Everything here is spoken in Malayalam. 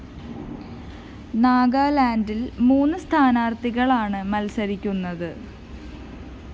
നാഗാലാന്‍ഡില്‍ മൂന്ന് സ്ഥാനാര്‍ത്ഥികളാണ് മത്സരിക്കുന്നത്